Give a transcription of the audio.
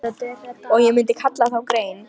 Og ég myndi kalla þá grein